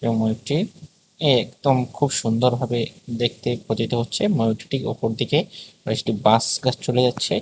ময়ূরটি একদম খুব সুন্দর ভাবে দেখতে প্রতিত হচ্ছে ময়ূরটি ওপর দিকে একটি বাঁশ গাছ চলে যাচ্ছে।